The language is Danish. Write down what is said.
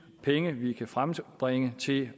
penge vi kan frembringe til